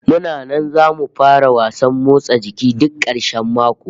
Muna nan zamu fara wasan motsa jiki duk karshen mako